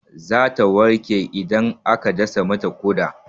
Zata warke idan aka dasa mata ƙoda.